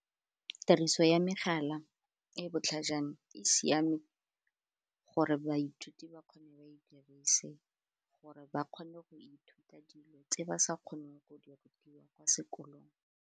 Tiriso ya megala e e botlhajana e siame gore baithuti ba kgone ba e dirise gore ba kgone go ithuta dilo tse ba sa kgoneng go di rutiwa kwa sekolong.